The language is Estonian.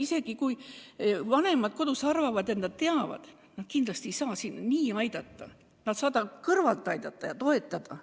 Isegi kui vanemad kodus arvavad, et nad teavad, mida teha, nad kindlasti ei saa probleemi lahendada, nad saavad kõrvalt aidata ja toetada.